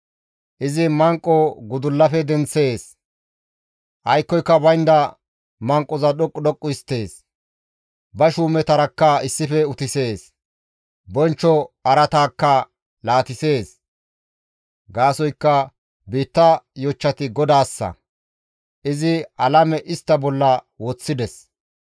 Izi manqo gudullafe denththees; aykkoyka baynda manqoza dhoqqu dhoqqu histtees; ba shuumetarakka issife utisees; bonchcho araataakka laatisees. Gaasoykka biitta yochchati GODAASSA; izi alame istta bolla woththides.